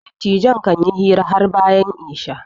dattajin kan yi hira har bayan Isha